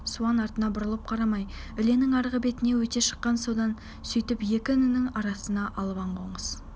суан артына бұрылып қарамай іленің арғы бетіне өте шыққан содан сөйтіп екі інінің арасында албан қоныс